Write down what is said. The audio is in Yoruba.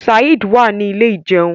Saheed wá ní Ilé ìjẹun.